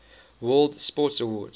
world sports awards